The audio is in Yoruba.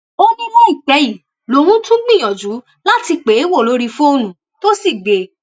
ó ní láìpẹ yìí lòun tún gbìyànjú láti pè é wò lórí fóònù tó sì gbé e